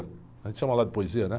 A gente chama lá de poesia, né?